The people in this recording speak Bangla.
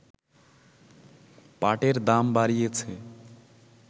পাটের দাম বাড়িয়েছে